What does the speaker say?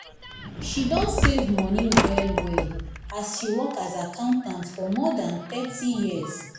she don save money well-well as she work as accountant for more than thirty years.